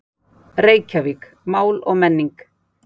Reykjavík: Mál og menning